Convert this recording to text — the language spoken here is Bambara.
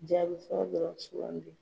Jaabi fɔlɔ dɔrɔn sugandi.